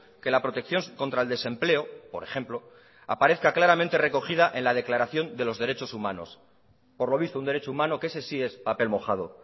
que la protección contra el desempleo por ejemplo aparezca claramente recogida en la declaración de los derechos humanos por lo visto un derecho humano que ese sí es papel mojado